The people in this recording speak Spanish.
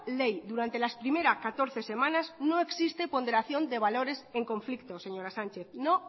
ley durante las primeras catorce semanas no existe ponderación de valores en conflicto señora sánchez no